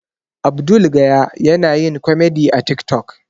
Abdul gaya yana yin komedi a tik tok